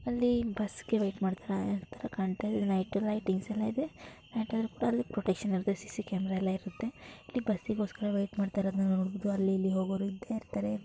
ಅಲ್ಲಿ ಬಸ್ಗೆ ವೆಯ್ಟ್ ಮಾಡ್ತಇರೋರ್ ತರ ಕಾಣ್ತಾಯಿದೆ. ನೈಟ್ ಲೈಟಿಂಗ್ಸ್ ಎಲ್ಲ ಇದೆ ನೈಟ್ ಆದ್ರೂ ಕೂಡ ಅಲ್ ಪ್ರೊಟೆಕ್ಷನ್ ಇರತ್ತೆ. ಸಿ_ಸಿ ಕ್ಯಾಮೆರಾ ಎಲ್ಲ ಇರತ್ತೆ. ಇಲ್ಲಿ ಬಸ್ಸಿಗೋಸ್ಕರ ವೆಯ್ಟ್ ಮಾಡ್ತಇರೋದ್ನ ನೋಡಬೋದು ಅಲ್ಲಿ ಇಲ್ಲಿ ಹೋಗೋರು ಇದ್ದೇ ಇರ್ತಾರೆ.